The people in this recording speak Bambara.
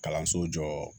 Kalanso jɔ